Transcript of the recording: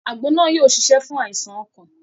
Àgbo náà yóò ṣiṣẹ́ fún àìsàn ọkàn